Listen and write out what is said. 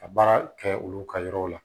Ka baara kɛ olu ka yɔrɔw la